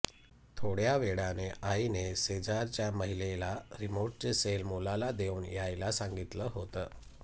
थोड्या वेळाने आईने शेजारच्या महिलेला रिमोटचे सेल मुलाला देऊन यायला सांगितलं होतं